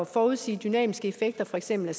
forudsige dynamiske effekter af for eksempel